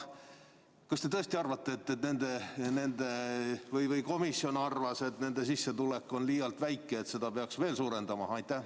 Kas te tõesti arvate või kas komisjon arvas, et nende sissetulek on liialt väike ja seda peaks suurendama?